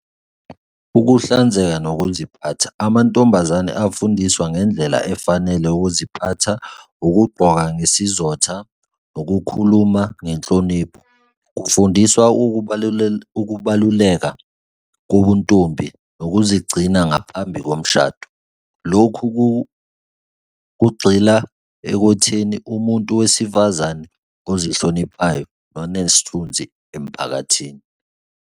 Ukuhlanzeka nokuziphatha. Amantombazane afundiswa ngendlela efanele ukuziphatha, ukugqoka ngesizotha, nokukhuluma ngenhlonipho kufundiswa ukubaluleka kobuntombi, nokuzigcina ngaphambi komshado. Lokhu kugxila ekutheni umuntu wesifazane ozihloniphayo nonesithunzi emphakathini.